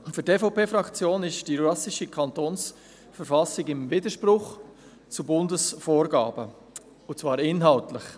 Für die EVP-Fraktion ist die jurassische Kantonsverfassung im Widerspruch zu Bundesvorgaben, und zwar inhaltlich.